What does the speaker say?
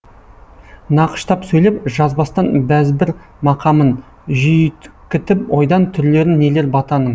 нақыштап сөйлеп жазбастан бәзбір мақамын жүйткітіп ойдан түрлерін нелер батаның